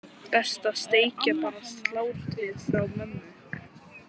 Best að steikja bara slátrið frá mömmu.